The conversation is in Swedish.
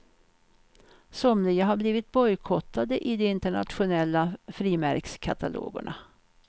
Somliga har blivit bojkottade i de internationella frimärkskatalogerna.